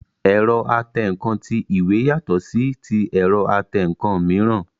Ẹ̀rọ atẹǹkan ti ìwé yàtọ̀ sí ti ẹ̀rọ atẹǹkan mìíràn